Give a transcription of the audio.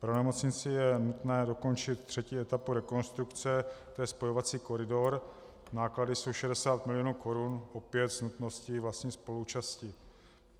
Pro nemocnici je nutné dokončit třetí etapu rekonstrukce, tj. spojovací koridor, náklady jsou 160 milionů korun, opět s nutností vlastní spoluúčasti.